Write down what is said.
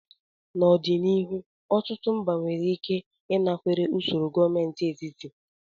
N'ọdịnihu, ọtụtụ mba nwere ike ịnakwere usoro gọọmentị etiti.